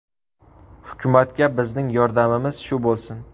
Hukumatga bizning yordamimiz shu bo‘lsin.